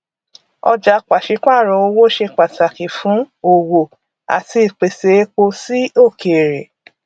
ọjà pàṣípààrò owó ṣe pàtàkì fún òwò àti ìpèsè epo sí òkèrè